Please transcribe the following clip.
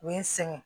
U ye n sɛgɛn